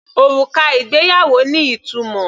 Òrùka ìgbéyàwó ní ìtumọ̀.